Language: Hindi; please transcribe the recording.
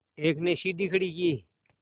एक ने सीढ़ी खड़ी की